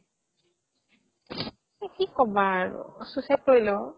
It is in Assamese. কি ক'বা আৰু suicide কৰিলে অ'